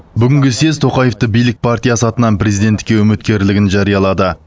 бүгінгі съез тоқаевты билік партиясы атынан президенттікке үміткерлігін жариялады